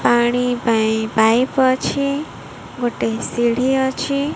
ପାଣି ପାଇଁ ପାଇପ୍ ଅଛି ଗୋଟେ ସିଢ଼ି ଅଛି।